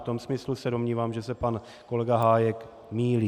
V tom smyslu se domnívám, že se pan kolega Hájek mýlí.